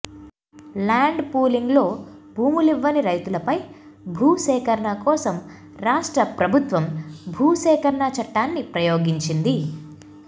land పూలింగ్లో భూమిలివ్వని రైతులపై భూసేకరణ కోసం రాష్ట్ర ప్రభుత్వం భూసేకరణ చట్టాన్ని ప్రయోగించింది